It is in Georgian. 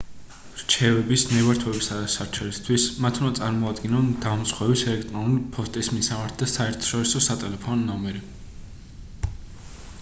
რჩევების/ნებართვებისა და სარჩელისთვის მათ უნდა წარმოადგინონ დამზღვევის ელექტრონული ფოსტის მისამართი და საერთაშორისო სატელეფონო ნომერი